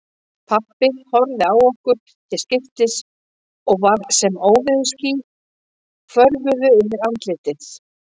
Pabbi horfði á okkur til skiptis og var sem óveðursský hvörfluðu yfir andlitið.